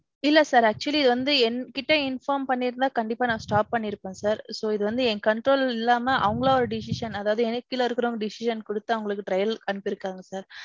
இல்ல sir actually வந்து என்கிட்டே inform பன்னிருந்தா கண்டிப்பா நான் stop பன்னிருப்பேன் sir. So, இது வந்து என் control இல்லம அவங்களா ஒரு decision, அதாவது எனக்கு கீழ இருக்குறவங்க decision குடுத்து அவங்கள trial க்கு அனுப்பிருக்காங்க sir.